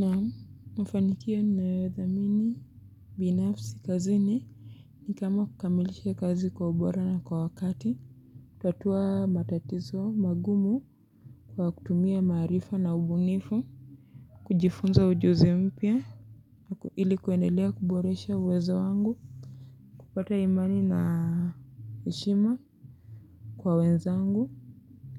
Naam, mafanikio ninayodhamini binafsi kazini ni kama kukamilishe kazi kwa ubora na kwa wakati tatua matatizo magumu kwa kutumia maarifa na ubunifu. Kujifunza ujuzi mpya ili kuendelea kuboresha uwezo wangu. Kupata imani na heshima kwa wenzangu